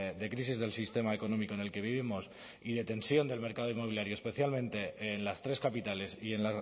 de crisis del sistema económico en el que vivimos y de tensión del mercado inmobiliario especialmente en las tres capitales y en